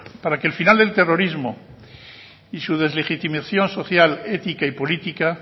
para que el final del terrorismo y su deslegitimación social ética y política